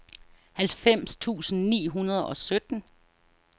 halvfems tusind ni hundrede og sytten